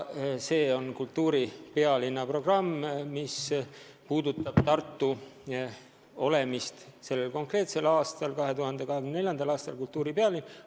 See on kultuuripealinna programm, mis puudutab seda, et Tartu on sellel konkreetsel aastal, 2024. aastal Euroopa kultuuripealinn.